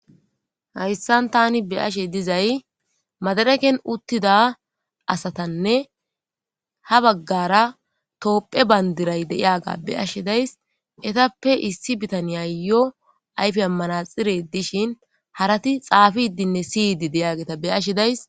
hayssan tani beyashe dizay madareken uttida asatanne ha baggara toophe bayndiray deyaga be ashe days etappe issi bitaniya yo ayfe ammanaxire dishin harati xaafidinne siyidi deyageta beyashi days